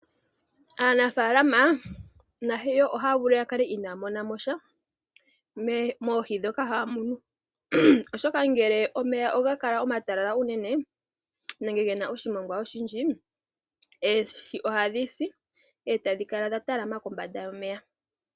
Aanafaalama nayo ohaya vulu ya kale inaaya monamosha moohi ndhoka haya munu. Oshoka ngele omeya oga kala omatalala unene nenge gena oshimongwa oshindji oohi ohadhi si eta dhi kala dha talama kombanda yomeya.